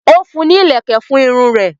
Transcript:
o fún ní ìlèkè fún Irun rè.